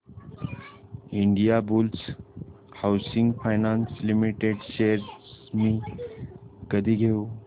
Indiabulls housing finance limited shares मी कधी घेऊ